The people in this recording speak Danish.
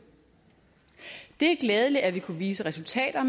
det er glædeligt at vi kunne vise resultater